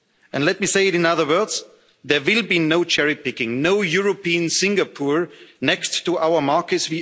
voters. And let me say it in other words there will be no cherry picking, no European Singapore next to our